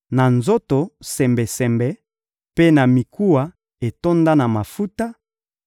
na nzoto sembesembe, mpe na mikuwa etonda na mafuta;